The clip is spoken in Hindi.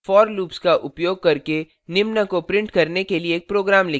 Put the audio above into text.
for loops का उपयोग करके निम्न को print करने के लिए एक program लिखें